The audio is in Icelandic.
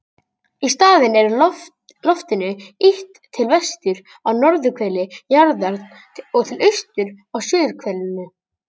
Í staðinn er loftinu ýtt til vesturs á norðurhveli jarðar og til austurs á suðurhvelinu.